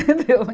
Entendeu?